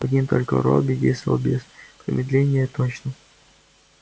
один только робби действовал без промедления и точно